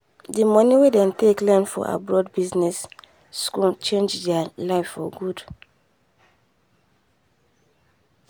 the money wen them take learn for abroad business school change there life for good